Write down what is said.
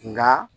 Nka